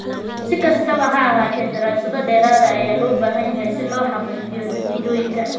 Si kastaba ha ahaatee, daraasado dheeraad ah ayaa loo baahan yahay si loo xaqiijiyo natiijooyinkan.